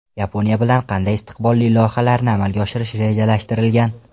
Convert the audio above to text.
Yaponiya bilan qanday istiqbolli loyihalarni amalga oshirish rejalashtirilgan?.